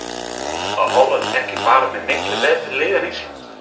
Er Holland ekki bara með mikið betra lið en Ísland?